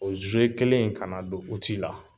O zuye kelen in kana don uti la